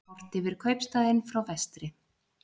Horft yfir kaupstaðinn frá vestri.